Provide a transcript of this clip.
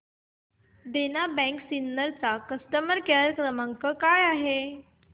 देना bank Sinnar चा customer care क्रमांक काय आहे